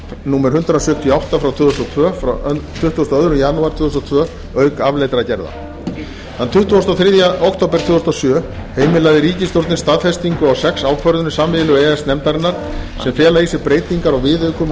númer hundrað sjötíu og átta tvö þúsund og tvö frá tuttugasta og áttundi janúar tvö þúsund og tvö auk afleiddra gerða þann tuttugasta og þriðja október tvö þúsund og sjö heimilaði ríkisstjórnin staðfestingu á sex ákvörðunum sameiginlegu e e s nefndarinnar sem fela í sér breytingar á viðaukum og